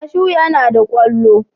Kashu yana da kwallo.